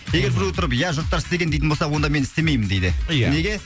егер біреу тұрып ия жұрттар істеген дейтін болса онда мен істемеймін дейді ия неге